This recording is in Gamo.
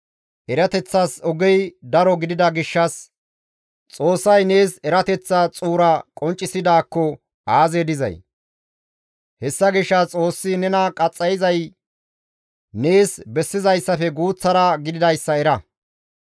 Erateththas ogey daro gidida gishshas, Xoossay nees erateththa xuura qonccisidaakko aazee dizay! Hessa gishshas Xoossi nena qaxxayizay nees bessizayssafe guuththara gididayssa era.